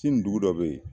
Sini dugu dɔ bɛ yen